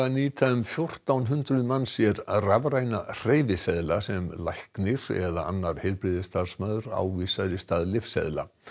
nýta um fjórtán hundruð manns sér rafræna hreyfiseðla sem læknir eða annar heilbrigðisstarfsmaður ávísar í stað lyfseðla